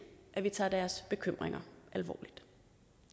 at vi tager deres bekymringer alvorligt